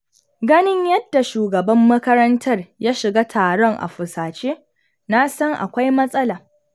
Ganin yadda shugaban makarantar ya shiga taron a fusace, na san akwai matsala.